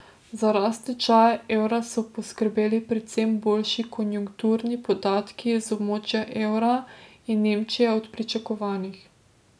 Za rast tečaja evra so poskrbeli predvsem boljši konjunkturni podatki iz območja evra in Nemčije od pričakovanih.